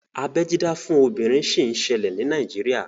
Abeẹ dídá fún obìnrin sì ń ṣẹlẹ̀ ní Nàíjírìà